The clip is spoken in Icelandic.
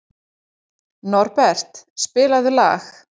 Norbert, spilaðu lag.